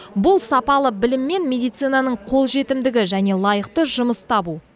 бұл сапалы білім мен медицинаның қолжетімдігі және лайықты жұмыс табу